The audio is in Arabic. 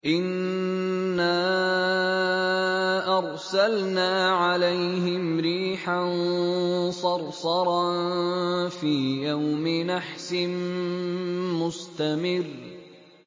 إِنَّا أَرْسَلْنَا عَلَيْهِمْ رِيحًا صَرْصَرًا فِي يَوْمِ نَحْسٍ مُّسْتَمِرٍّ